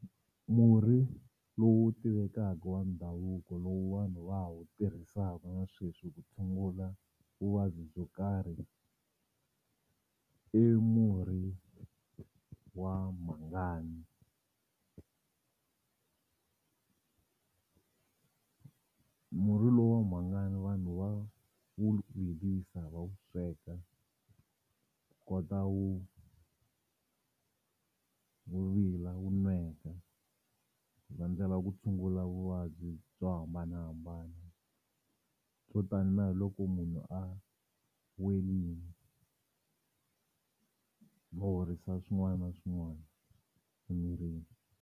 Murhi lowu tivekaka wa ndhavuko lowu vanhu va wa ha wu tirhisaka na sweswi ku tshungula vuvabyi byo karhi i murhi wa mhangani. Murhi lowu wa mhangani vanhu va wu virisa va wu sweka kota wu wu vila wu nweka va ndlela ku tshungula vuvabyi byo hambanahambana swo tani na hi loko munhu a va horisa swin'wana na swin'wana emirini.